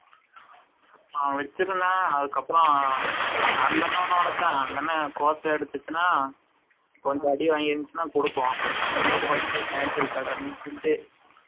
அவன் வச்சு இருந்தான் அதுக்கு அப்ரம் அந்த அன்னனொடது தான் அந்த அன்னன் coach ஆ அடிசுசுனா கொஞ்சம் அடி வாங்கி இருந்துச்சுனா குடுக்கும் இவங்க வீட்டு பக்கதுல மேசல்க்கு இடம் இருந்துச்சுனு